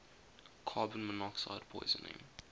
carbon monoxide poisoning